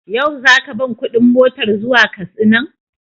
Yau za ka ban kuɗin motar zuwa Katsinan?